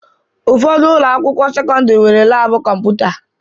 Ụfọdụ ụlọakwụkwọ sekọndịrị nwere laabụ kọmputa